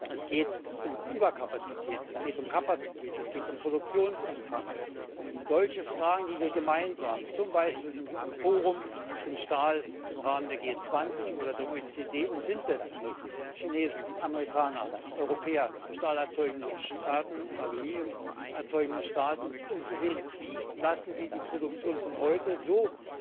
Es geht um Überkapazitäten, es geht um Kapazität, es geht um Produktionsumfang, um solche Fragen, mit denen wir uns gemeinsam zum Beispiel im Forum zum Stahl im Rahmen der G20 oder der OECD auseinandersetzen müssen Chinesen, Amerikaner, Europäer, Stahl erzeugende Staaten und Aluminium erzeugende Staaten um zu sehen, wie wir die Produktion von heute so